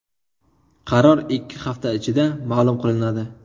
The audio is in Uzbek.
Qaror ikki hafta ichida ma’lum qilinadi.